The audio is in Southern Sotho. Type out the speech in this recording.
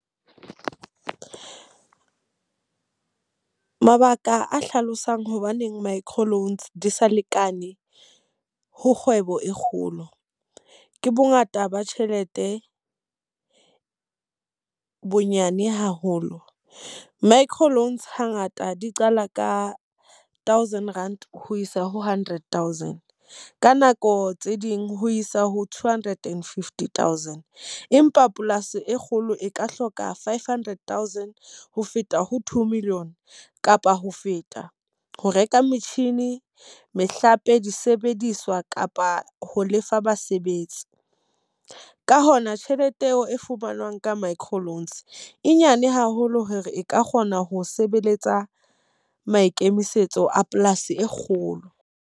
Mabaka a hlalosang hobaneng micro loans di sa lekane, ho kgwebo e kgolo. Ke bo ngata ba tjhelete bonyane haholo. Micro loans ha ngata di qala ka thousand rand ho isa ho hundred thousand. Ka nako tse ding ho isa ho two hundred and fifty thousand. Empa polasi e kgolo e ka hloka five hundred thousand ho feta ho two million kapa ho feta. Ho reka metjhini, mehlape, disebediswa kapa ho lefa basebetsi. Ka hona tjhelete eo e fumanwang ka micro loans e nyane haholo hore e ka kgona ho sebeletsa maikemisetso a polasi e kgolo.